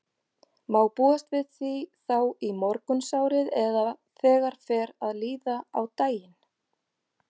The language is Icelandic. Má búast við því þá í morgunsárið eða þegar fer að líða á daginn?